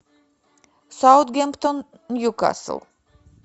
саутгемптон ньюкасл